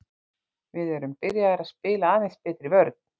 Við erum byrjaðir að spila aðeins betri vörn.